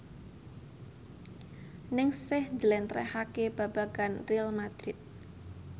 Ningsih njlentrehake babagan Real madrid